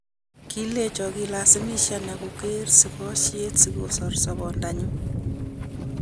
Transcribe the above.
Kolechon kilasimisanan koker sikosyet sikosor sobenyun